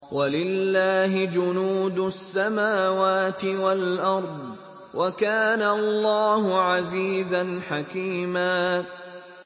وَلِلَّهِ جُنُودُ السَّمَاوَاتِ وَالْأَرْضِ ۚ وَكَانَ اللَّهُ عَزِيزًا حَكِيمًا